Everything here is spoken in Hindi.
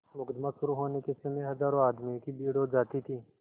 मुकदमा शुरु होने के समय हजारों आदमियों की भीड़ हो जाती थी